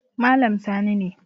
Malam Sani ne